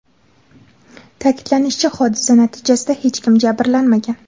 Ta’kidlanishicha, hodisa natijasida hech kim jabrlanmagan.